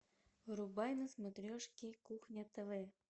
врубай на смотрешке кухня тв